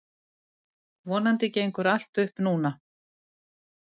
Vonandi gengur allt upp núna.